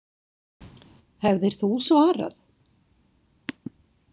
Hefðir þú svarað?